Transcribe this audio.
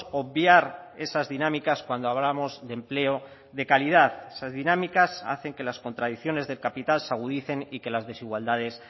obviar esas dinámicas cuando hablamos de empleo de calidad esas dinámicas hacen que las contradicciones del capital se agudicen y que las desigualdades